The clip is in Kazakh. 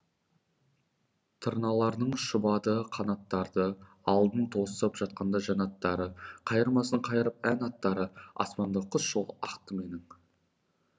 тырналардың шұбады қанаттары алдан тосып жатқанда жәннаттары қайырмасын қайырып ән аттары аспанымда құс жолы ақты менің